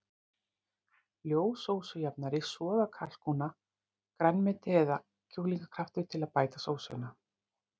Ljós sósujafnari, soð af kalkúna, grænmeti eða kjúklingakraftur til að bæta sósuna.